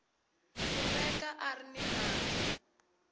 kumeka a ri ni nandzu